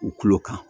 U tulo kan